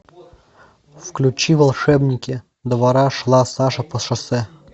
включи волшебники двора шла саша по шоссе